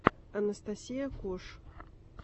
анастасия кош